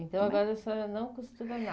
Então, agora a senhora não costura nada.